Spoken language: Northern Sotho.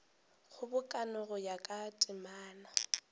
kgobokano go ya ka temana